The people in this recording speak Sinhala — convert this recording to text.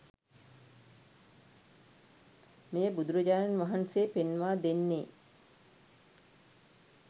මෙය බුදුරජාණන් වහන්සේ පෙන්වා දෙන්නේ